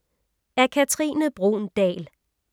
Af Katrine Bruun Dahl